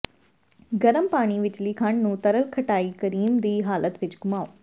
ਗਰਮ ਪਾਣੀ ਵਿਚਲੀ ਖੰਡ ਨੂੰ ਤਰਲ ਖਟਾਈ ਕਰੀਮ ਦੀ ਹਾਲਤ ਵਿਚ ਘੁਮਾਓ